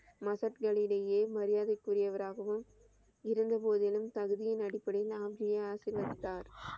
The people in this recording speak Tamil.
மகட் களிடையே மரியாதை கூறிவராகவும், இருந்த போதிலும் தகுதியின் அடிப்படையில் ஆம் ஜியை ஆசிர்வதித்தார்.